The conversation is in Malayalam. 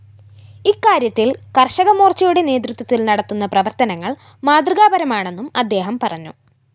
ഇക്കാര്യത്തില്‍ കര്‍ഷകമോര്‍ച്ചയുടെ നേതൃത്വത്തില്‍ നടത്തുന്ന പ്രവര്‍ത്തനങ്ങള്‍ മാതൃകാപരമാണെന്നും അദ്ദേഹം പറഞ്ഞു